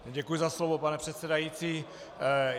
Děkuji za slovo, pane předsedající.